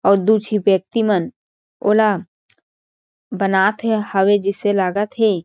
अउ दू झी व्यक्ति मन ओला बनात हे हवे जिसे लागत हे।